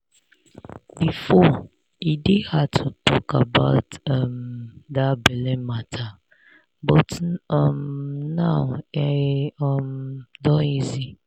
before e dey hard to talk about um that belle matter but um now e um don easy.